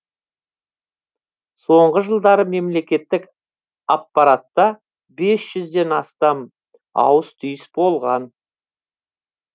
соңғы жылдары мемлекеттік аппаратта бес жүзден астам ауыс түйіс болған